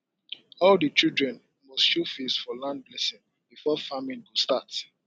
all the children must show face for land blessing before farming go start